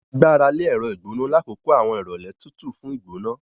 A gbarale ẹrọ igbona lakoko awọn irọlẹ tútù fún igbona.